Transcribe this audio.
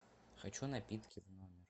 хочу напитки в номер